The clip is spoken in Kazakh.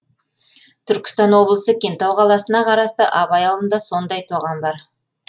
түркістан облысы кентау қаласына қарасты абай ауылында сондай тоған бар